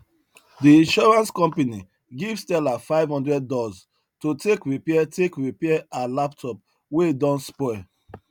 de insurance company give stella 500 dollz to take repair take repair her laptop wey don spoil